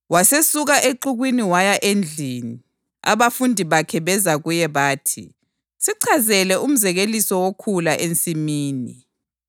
Wasesuka exukwini waya endlini. Abafundi bakhe beza kuye bathi, “Sichazele umzekeliso wokhula ensimini.”